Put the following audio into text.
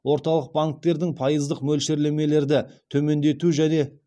орталық банктердің пайыздық мөлшерлемелерді төмендету және